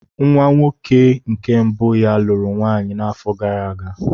Nwa nwoke nke mbụ ya lụrụ nwaanyị n'afọ gara aga.